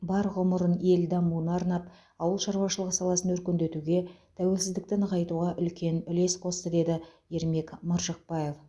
бар ғұмырын ел дамуына арнап ауыл шаруашылығы саласын өркендетуге тәуелсіздікті нығайтуға үлкен үлес қосты деді ермек маржықпаев